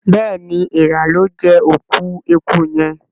béèni Èèrà lọ jé òkú ẹkú yén.